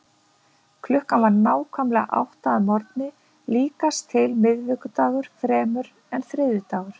Klukkan var nákvæmlega átta að morgni, líkast til miðvikudagur fremur en þriðjudagur.